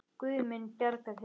Guð mun bjarga þér.